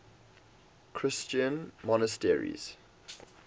christian monasteries